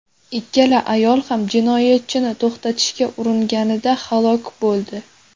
Ikkala ayol ham jinoyatchini to‘xtatishga uringanida halok bo‘ldi.